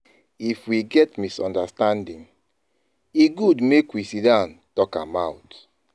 If we get misunderstanding, e good make we sidon talk am out.